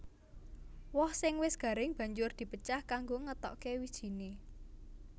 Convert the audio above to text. Woh sing wis garing banjur di pecah kanggo ngetokké wijiné